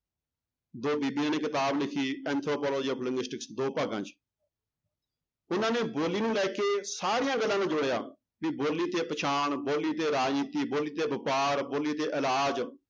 ਦੋ ਬੀਬੀਆਂ ਨੇ ਕਿਤਾਬ ਲਿਖੀ ਦੋ ਭਾਗਾਂ 'ਚ ਉਹਨਾਂ ਨੇ ਬੋਲੀ ਨੂੰ ਲੈ ਸਾਰੀਆਂ ਦਰਾਂ ਨੂੰ ਜੋੜਿਆ ਵੀ ਬੋਲੀ ਤੇ ਪਛਾਣ, ਬੋਲੀ ਤੇ ਰਾਜਨੀਤੀ, ਬੋਲੀ ਤੇ ਵਾਪਾਰ, ਬੋਲੀ ਤੇ ਇਲਾਜ਼